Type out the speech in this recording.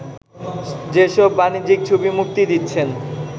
যেসব বাণিজ্যিক ছবি মুক্তি দিচ্ছেন